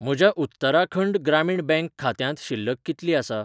म्हज्या उत्तराखंड ग्रामीण बँक खात्यांत शिल्लक कितली आसा?